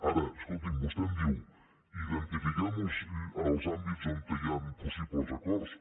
ara escolti’m vostè em diu identifiquem els àmbits on hi ha possibles acords